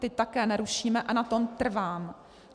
Ty také nerušíme a na tom trvám.